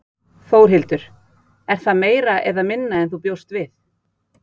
Þórhildur: Er það meira eða minna en þú bjóst við?